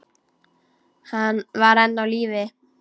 Hann var enn á lífi.